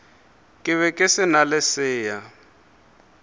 be ke sa le lesea